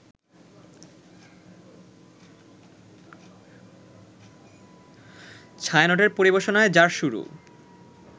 ছায়ানটের পরিবেশনায় যার শুরু